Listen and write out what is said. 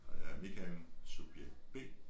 Og jeg er Michael subjekt B